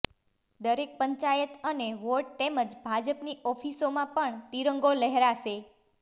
દરેક પંચાયત અને વોર્ડ તેમજ ભાજપની ઓફિસોમાં પણ તિરંગો લહેરાશે